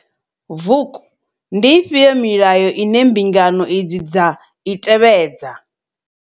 Vuk. Ndi ifhio milayo ine mbingano idzi dza i tevhedza?